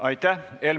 Aitäh!